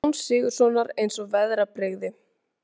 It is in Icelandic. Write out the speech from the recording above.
Jóns Sigurðssonar eins og veðrabrigði.